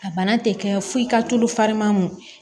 A bana tɛ kɛ fo i ka tulu fariman